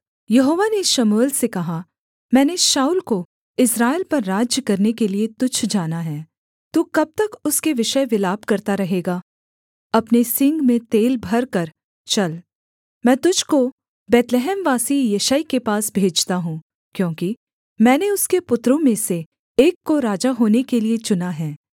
यहोवा ने शमूएल से कहा मैंने शाऊल को इस्राएल पर राज्य करने के लिये तुच्छ जाना है तू कब तक उसके विषय विलाप करता रहेगा अपने सींग में तेल भरकर चल मैं तुझको बैतलहमवासी यिशै के पास भेजता हूँ क्योंकि मैंने उसके पुत्रों में से एक को राजा होने के लिये चुना है